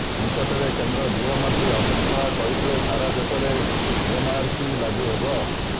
ନିକଟରେ କେନ୍ଦ୍ର ଗୃହମନ୍ତ୍ରୀ ଅମିତ ଶାହ କହିଥିଲେ ସାରା ଦେଶରେ ଏନଆରସି ଲାଗୁ ହେବ